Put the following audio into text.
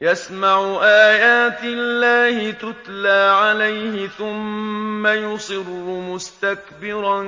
يَسْمَعُ آيَاتِ اللَّهِ تُتْلَىٰ عَلَيْهِ ثُمَّ يُصِرُّ مُسْتَكْبِرًا